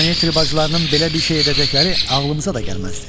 Danietri bacılarının belə bir şey edəcəkləri ağlımıza da gəlməzdi.